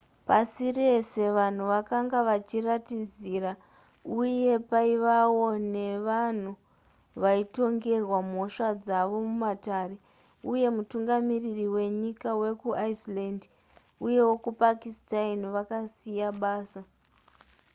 pasi rese vanhu vakanga vachiratidzira uye paivawo nevanhu vaitongerwa mhosva dzavo mumatare uye mutungamiriri wenyika wekuiceland uye wekupakistan vakasiya basa